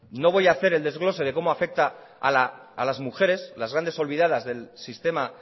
no voy a hacer el desglose de cómo afecta a las mujeres las grandes olvidadas del sistema